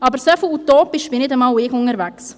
Aber so utopisch bin nicht einmal ich unterwegs.